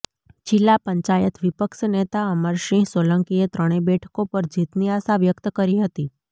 જિલ્લા પંચાયત વિપક્ષ નેતા અમરસિંહ સોલંકીએ ત્રણેય બેઠકો પર જીતની આશા વ્યક્ત કરી હતી